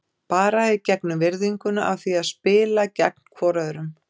Bara í gegnum virðinguna af því að spila gegn hvorum öðrum.